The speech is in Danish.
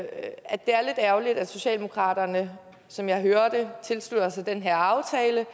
ærgerligt at socialdemokratiet som jeg hører det tilslutter sig den her aftale